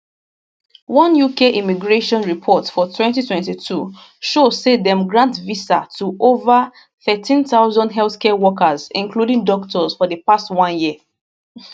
one uk immigration report for 2022 show say dem grant visa to over 13000 healthcare workers including doctors for di past one year